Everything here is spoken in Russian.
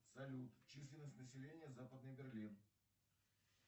салют численность населения западный берлин